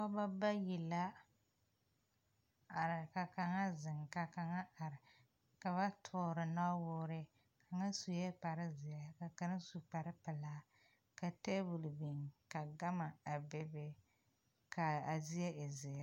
Pɔgeba bayi la a are ka kaŋa zeŋ ka kaŋa a are ka ba toore nuwoore kaŋa sue kparezeɛ ka kaŋ su kparepelaa ka tabol biŋ ka gama a bebe la a zie e zeere.